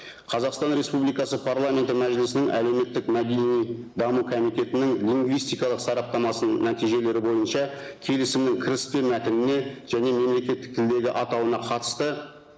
қазақстан республикасы парламенті мәжілісінің әлеуметтік мәдени даму комитетінің лингвистикалық сараптамасының нәтижелері бойынша келісімнің кіріспе мәтініне және мемлекеттік тілдегі атауына қатысты